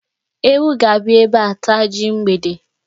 Ewu ga-abịa ebe a taa ji mgbede.